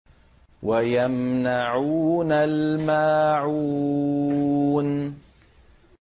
وَيَمْنَعُونَ الْمَاعُونَ